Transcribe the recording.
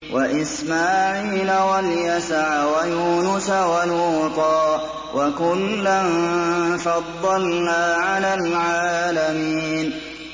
وَإِسْمَاعِيلَ وَالْيَسَعَ وَيُونُسَ وَلُوطًا ۚ وَكُلًّا فَضَّلْنَا عَلَى الْعَالَمِينَ